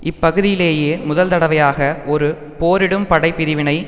இப்பகுதியிலேயே முதல் தடவையாக ஒரு போரிடும் படை பிரிவை